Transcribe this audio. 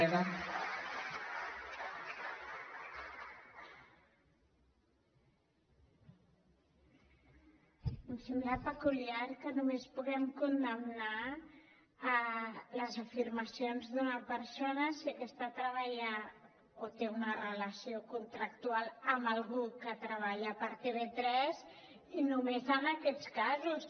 em sembla peculiar que només puguem condemnar les afirmacions d’una persona si aquesta treballa o té una relació contractual amb algú que treballa per tv3 i només en aquests casos